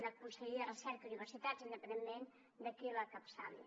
una conselleria de recerca i universitats independentment de qui l’encapçali